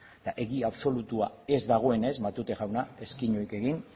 egia absolutua ez dagoenez matute jauna ez keinurik egin